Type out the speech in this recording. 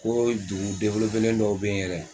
Ko dugu dɔw bɛ yen yɛrɛ